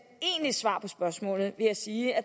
egentligt svar på spørgsmålet vil jeg sige at